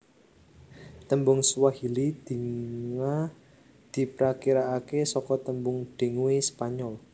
Tembung Swahili dinga diprakirake saka tembung dengue Spanyol